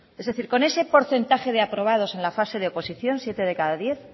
es decir con ese porcentaje de aprobados en la fase de oposición siete de cada diez